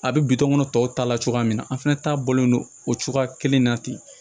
A bɛ bitɔn ŋɔnɔ tɔw ta la cogoya min na an fana ta bɔlen don o cogoya kelen na ten